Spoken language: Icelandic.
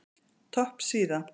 Topp síða